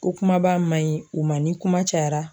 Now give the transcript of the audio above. Ko kumaba ma ɲi u ma ni kuma cayara